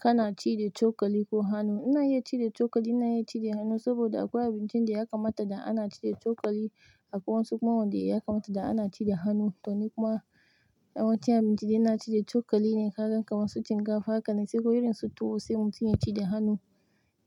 Kana ci da cokali ko hannu? Ina iya ci da cokali, ina iya ci da hannu saboda akwai abincin da ya kamata da ana ci da cokali akwai wasu kuma wanda ya kamata da ana ci da hannu. To, ni kuma yawan cin abincin da ina ci da cokali ne, kalar kam wasu shinkafa haka ne, sai wurin su tuwo sai mutum ya ci da hannu.